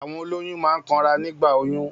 Àwọn òlòyún máa ń kàn rá nígbà òyún